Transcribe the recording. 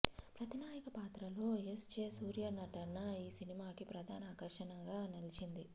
ప్రతినాయక పాత్రలో S J Surya నటన ఈ సినిమాకి ప్రధాన ఆకర్షణగా నిలిచింది